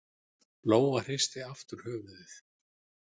Lóa hristi aftur höfuðið.